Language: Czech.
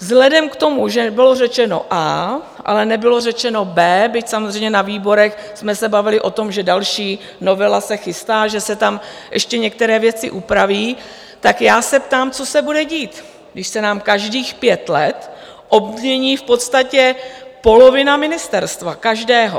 Vzhledem k tomu, že bylo řečeno A, ale nebylo řečeno B, byť samozřejmě na výborech jsme se bavili o tom, že další novela se chystá, že se tam ještě některé věci upraví, tak já se ptám, co se bude dít, když se nám každých pět let obmění v podstatě polovina ministerstva - každého.